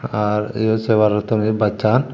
arr eyot sebar uttoni bassan.